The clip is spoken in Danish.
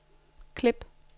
klip